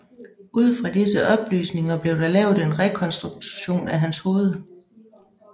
Ud fra disse oplysninger blev der lavet en rekonstruktion af hans hoved